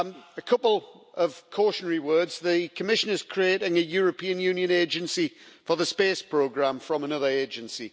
A couple of cautionary words the Commission is creating a European Union agency for the space programme from another agency.